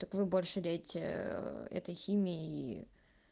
так вы больше лейте этой химии ии